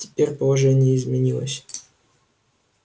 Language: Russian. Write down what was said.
теперь положение изменилось